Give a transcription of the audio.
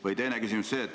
Või teine küsimus.